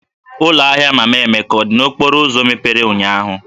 Ụlọ ahịa Mama Emeka dị n'okporo ụzọ mepere ụnyahụ?